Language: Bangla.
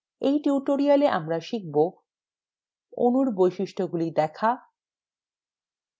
in tutorial আমরা শিখব: অণুর বৈশিষ্ট্যগুলি দেখা